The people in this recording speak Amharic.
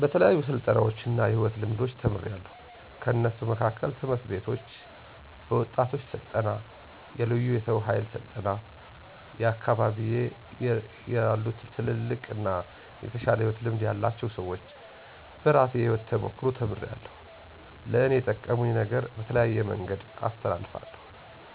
በተለያዩ ስልጠናዎች እና የሕይወት ልምዶች ተምሪያለዉ። ከነሱ መካከል፦ ትምህርት ቤቶች፣ በወጣቶች ስልጠና፣ የለዩ የሰው ሀይል ስልጠና፣ አካቢየ ያሉትልልቅ አና የተሻለ የሕይወት ልምድ ያላቸው ሰወች፣ በራሴ የሕይወት ተሞክሮ ተምሪያለዉ። ለእኔ የጠቀሙኝን ነገሮች በተለያየ መንገድ አስተላልፋለዉ።